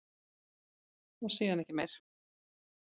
Og síðan ekki meir?